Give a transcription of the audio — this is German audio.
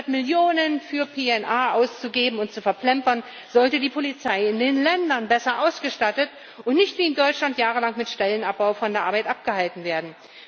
Statt Millionen für PNR auszugeben und zu verplempern, sollte die Polizei in den Ländern besser ausgestattet und nicht wie in Deutschland jahrelang mit Stellenabbau von der Arbeit abgehalten werden.